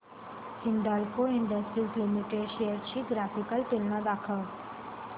Hindalco industries limited shares ची graphical तुलना दाखव